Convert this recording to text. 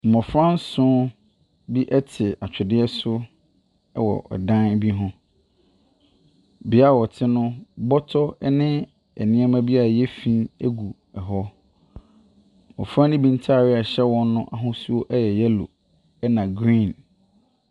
Mmɔfra nson bi ɛte atwedeɛ so ɛwɔ ɛdan bi ho. Biaa ɔte no bɔtɔ ɛne nneɛma bi a ayɛ fin egu ɛhɔ. Abɔfra no bi ntaade a ɛhyɛ wɔn no ahosuo ɛyɛ yellow ɛna green.